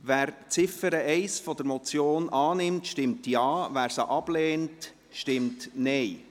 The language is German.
Wer Ziffer 1 der Motion annimmt, stimmt Ja, wer diese ablehnt, stimmt Nein.